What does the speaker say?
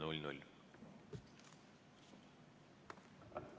V a h e a e g